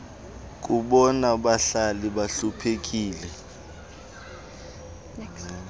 kubona bahlali bahluphekileyo